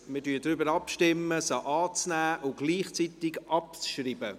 Wir stimmen darüber ab, diese anzunehmen und gleichzeitig abzuschreiben.